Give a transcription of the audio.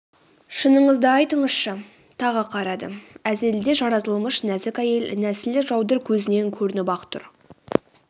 шыныңызды айтыңызшы тағы қарады әзелде жаратылмыш нәзік әйел нәсілі жаудыр көзінен көрініп-ақ тұр